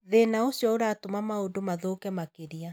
Thĩna ũcio ũratũma maũndũ mathũke makĩria.